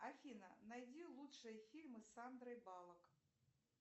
афина найди лучшие фильмы с сандрой баллок